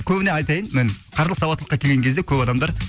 көбіне айтайын міне қаржылық сауаттылыққа келген кезде көп адамдар